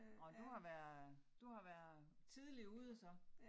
Nåh du har været du har været tidligt ude så